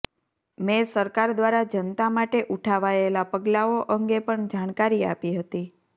મેં સરકાર દ્વારા જનતા માટે ઉઠાવાયેલા પગલાંઓ અંગે પણ જાણકારી આપી હતી